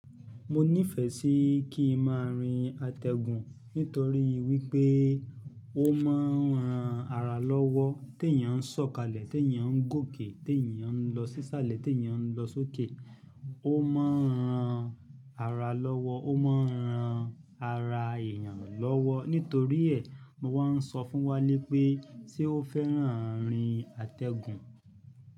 Mo nífẹ̀ẹ́ sí kí n máa rin àtẹ̀gùn nítorí wípé ó máa ń ran ara lọ́wọ́. Tèyán ń sọ̀kalẹ̀, tèyán ń gòkè, tèyán ń lọ sísàlẹ̀, tèyán ń lọ sókè. Ó máa ń ran ara lọ́wọ́, ó máa ń ran ara èèyàn lọ́wọ́. Nítorí ẹ̀, wọ́n ń sọ fún wàlè pé sé ó fẹ́ràn àrin àtẹ̀gùn.